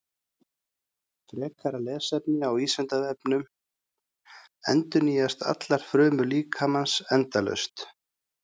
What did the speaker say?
Frekara lesefni á Vísindavefnum: Endurnýjast allar frumur líkamans endalaust?